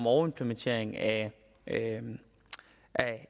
overimplementering af